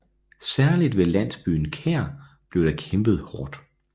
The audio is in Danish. Særligt ved landsbyen Kær blev der kæmpet hårdt